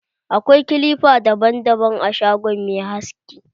Akwai kilipa daban-daban a shagon mai haski.